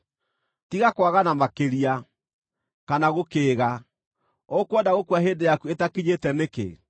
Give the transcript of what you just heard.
Tiga kwagana makĩria, kana gũkĩĩga: ũkwenda gũkua hĩndĩ yaku ĩtakinyĩte nĩkĩ?